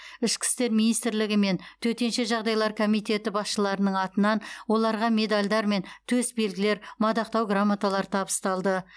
ішкі істер министрлігі мен төтенше жағдайлар комитеті басшыларының атынан оларға медальдар мен төсбелгілер мадақтау грамоталары табысталды